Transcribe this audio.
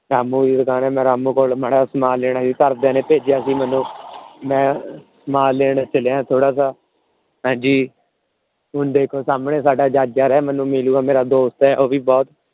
ਰਾਮੁ ਦੀ ਦੁਕਾਨ ਆ। ਮੈ ਰਾਮੁ ਕੋਲੋਂ ਮਾੜਾ ਜਿਹਾ ਸਮਾਨ ਲੈਣਾ ਸੀ। ਘਰ ਦੀਆਂ ਨੇ ਭੇਜਿਆ ਸੀ ਮੈਨੂੰ। ਮੈ ਸਮਾਨ ਲੈਣ ਚਲਿਆ ਥੋੜਾ ਜਿਹਾ। ਹਾਂਜੀ ਹੁਣ ਦੇਖੋ ਸਾਮਹਣੇ ਸਾਡਾ ਮੈਨੂੰ ਮਿਲਿਆ ਮੇਰਾ ਦੋਸਤ ਏ। ਉਹਦੀ ਬਹੁਤ